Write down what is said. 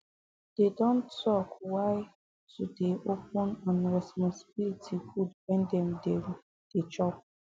they done um talk um why to dey open um and responsibility good when dem dey dem dey chop